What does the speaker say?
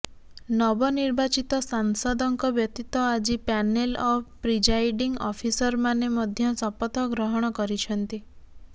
ନବନିର୍ବାଚିତ ସାଂସଦଙ୍କ ବ୍ୟତୀତ ଆଜି ପ୍ୟାନେଲ ଅଫ୍ ପ୍ରିଜାଇଡିଂ ଅଫିସରମାନେ ମଧ୍ୟ ଶପଥ ଗ୍ରହଣ କରିଛନ୍ତି